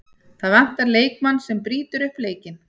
Það vantar leikmann sem brýtur upp leikinn.